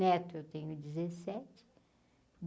Neto, eu tenho dezessete.